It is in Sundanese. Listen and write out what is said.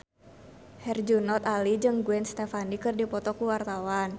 Herjunot Ali jeung Gwen Stefani keur dipoto ku wartawan